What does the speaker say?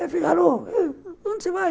Ela fica, alô, onde você vai?